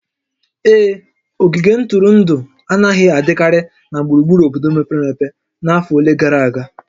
Ee, ogige ntụrụndụ anaghị adịkarị na gburugburu obodo mepere emepe n'afọ ole gara aga